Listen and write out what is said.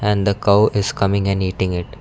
And the cow is coming and eating it.